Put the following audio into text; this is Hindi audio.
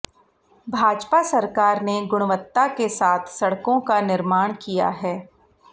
भाजपा सरकार ने गुणवत्ता के साथ सड़कों का निर्माण किया है